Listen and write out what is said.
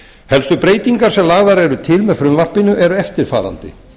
helstu breytingar sem lagðar eru til með frumvarpinu eru eftirfarandi